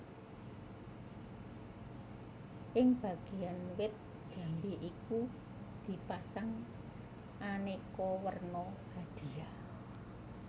Ing Bagean wit jambe iku di pasang aneka werna hadiah